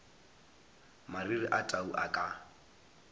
mariri a tau a ka